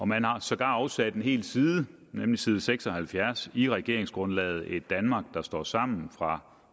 man har sågar afsat en hel side side seks og halvfjerds i regeringsgrundlaget et danmark der står sammen fra